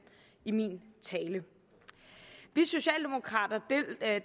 i min tale vi socialdemokrater